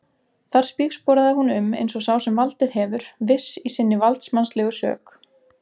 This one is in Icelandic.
Þar spígsporaði hún um eins og sá sem valdið hefur, viss í sinni valdsmannslegu sök.